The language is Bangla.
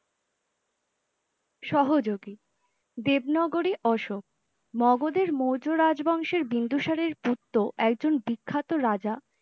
সহযোগী দেব নাগরী অশোক মগধের মৌর্য রাজবংশের বিন্দুসারের একজন বিখ্যাত রাজা